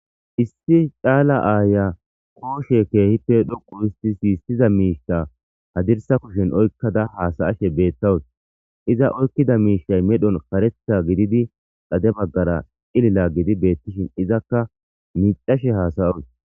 issi caala aaya kooshe keehippe dhoqu isti siyissiza miishta hadirsa kushen oykkada haasayashe beettawus iza oykkida miishay medhon karetha gididi dade baggara ilila gidi beettishin izakka micashe haasayoy